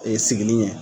Ee sigili ye